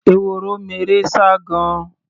ehoro meré sá gan-an.